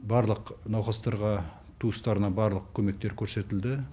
барлық науқастарға туыстарына барлық көмектер көрсетілді